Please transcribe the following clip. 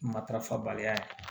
Matarafabaliya ye